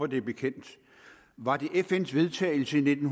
det er bekendt var det fn’s vedtagelse i nitten